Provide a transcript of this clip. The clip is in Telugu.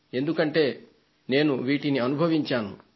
ఎందుకంటే వీటిని నేను అనుభవించాను